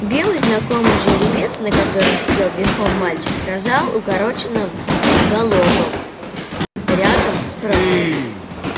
белый знакомый жеребец на котором сидел верхом мальчик сказал укороченным галопом рядом справа